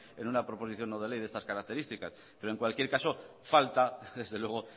en una proposición no de ley de estas característica pero en cualquier caso falta desde luego